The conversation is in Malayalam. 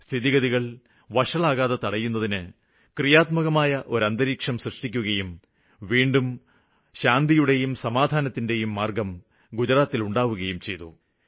സ്ഥിതിഗതികള് വഷളാകുന്നത് തടയുന്നതിനായി ക്രിയാത്മകമായ ഒരു അന്തരീക്ഷം സൃഷ്ടിക്കുകയും വീണ്ടും ഒരിക്കല്ക്കൂടെ ശാന്തിയുടെയും സമാധാനത്തിന്റെയും മാര്ഗ്ഗം ഗുജറാത്തില് ഉണ്ടാകുകയും ചെയ്തു